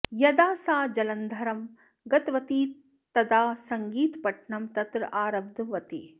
यदा सा जलन्धरं गतवती तदा सङ्गीतपठनं तत्र आरब्धवती